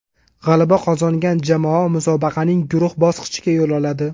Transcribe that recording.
G‘alaba qozongan jamoa musobaqaning guruh bosqichiga yo‘l oladi.